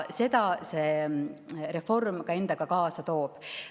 Seda see reform ka endaga kaasa toob.